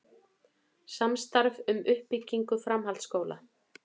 Samstarf um uppbyggingu framhaldsskóla